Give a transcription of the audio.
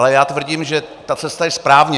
Ale já tvrdím, že ta cesta je správně.